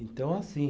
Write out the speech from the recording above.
Então assim.